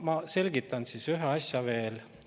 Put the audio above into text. No ma selgitan siis ühte asja veel.